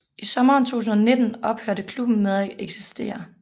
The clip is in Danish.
I sommeren 2019 ophørte klubben med at eksistere